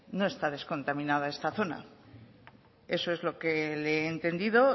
no está descontaminada esta zona eso es lo que le he entendido